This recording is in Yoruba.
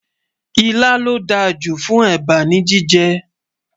ìlà ló dá jù fún èbá ní jíjẹ